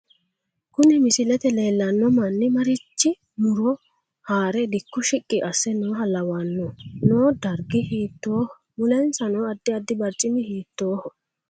Kuni misilete leelano manni marichi muro haare dikko shiqqi ase nooha lawanohe noo fdarggi hiitoho mulensa noo addi addi barcimi hiitoho